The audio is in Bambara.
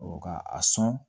ka a sɔn